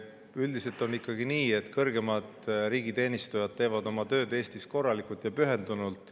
Üldiselt on ikkagi nii, et kõrgemad riigiteenistujad teevad oma tööd Eestis korralikult ja pühendunult.